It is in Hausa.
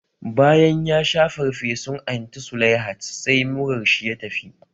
Bayan yasha farfesun Anti Sulaihat, sai murar shi ya tafi